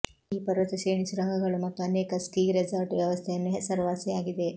ಈ ಪರ್ವತ ಶ್ರೇಣಿ ಸುರಂಗಗಳು ಮತ್ತು ಅನೇಕ ಸ್ಕೀ ರೆಸಾರ್ಟ್ ವ್ಯವಸ್ಥೆಯನ್ನು ಹೆಸರುವಾಸಿಯಾಗಿದೆ